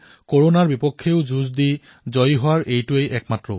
কৰোনাৰ সৈতে যুঁজিবলৈ আৰু জয় লাভ কৰিবলৈ এয়াই এক পথ